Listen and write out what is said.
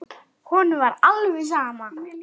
Honum var alveg sama.